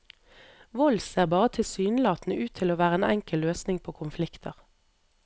Vold ser bare tilsynelatende ut til å være en enkel løsning på konflikter.